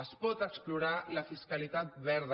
es pot explorar la fiscalitat verda